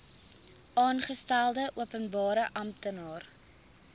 aangestelde openbare amptenaar